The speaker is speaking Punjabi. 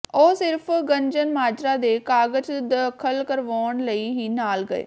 ਉਹ ਸਿਰਫ ਗੱਜਣਮਾਜਰਾ ਦੇ ਕਾਗਜ ਦਾਖਲ ਕਰਵਾਉਣ ਲਈ ਹੀ ਨਾਲ ਗਏ